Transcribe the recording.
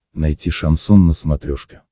найти шансон на смотрешке